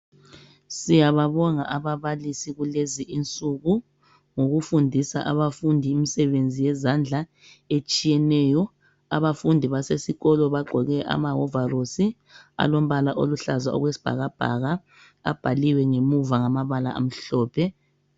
Siyababonga ababalisi kulezi insuku ngokufundisa abafundi imisebenzi yezandla etshiyeneyo. Abafundi basesikolo bagqoke amahovarosi alombala oluhlaza okwesibhakabhaka. Abhaliwe ngemuva ngamabala amhlophe.